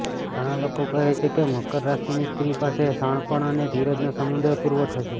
ઘણાં લોકો કહે છે કે મકર રાશિની સ્ત્રી પાસે શાણપણ અને ધીરજનો સમૃદ્ધ પુરવઠો છે